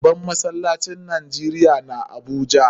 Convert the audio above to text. Babban masallacin Najeriya na Abuja.